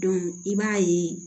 i b'a ye